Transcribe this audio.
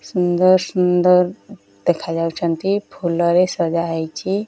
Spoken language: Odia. ସୁନ୍ଦର ସୁନ୍ଦର ଦେଖାଯାଉଛନ୍ତି ଫୁଲ ରେ ସଜାହେଇଛି।